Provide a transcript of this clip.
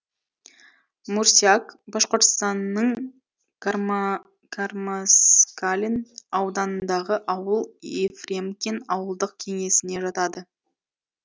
мурсяк башқұртстанның кармаскалин ауданындағы ауыл ефремкин ауылдық кеңесіне жатады